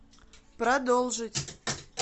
продолжить